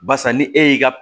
Barisa ni e y'i ka